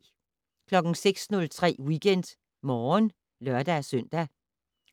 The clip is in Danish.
06:03: WeekendMorgen (lør-søn)